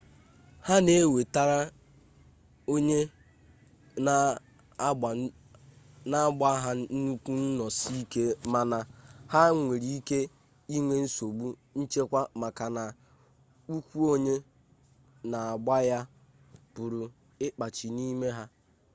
ha na-ewetara onye na-agba ha nnukwu nnọsi ike mana ha nwere ike inwe nsogbu nchekwa maka na ụkwụ onye na-agba ya pụrụ ịkpachi n'ime ha